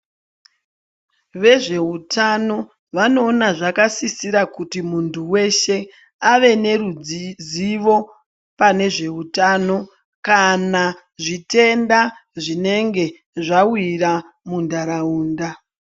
Vezveutano vanoona zvakasisira ,kuti muntu weshe ,ave nerudzizivo nezveutano kana zvitenda zvinenge zvawira muntaraunda.